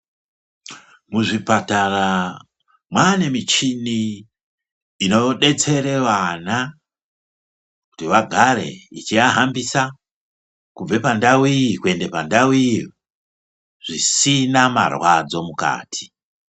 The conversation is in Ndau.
Muzvipatara mwaane muchini inodetsere vana kuti vagare ichiahambisa kubve pandau iyi kuende pandau iyo, zvisina marwadzo mukati.